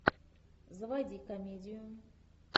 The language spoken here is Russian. заводи комедию